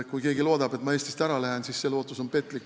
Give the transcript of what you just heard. Kui keegi loodab, et ma Eestist ära lähen, siis see lootus on petlik.